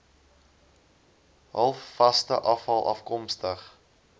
halfvaste afval afkomstig